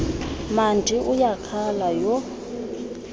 mandi uyakhala yho